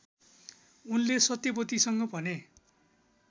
उनले सत्यवतीसँग भने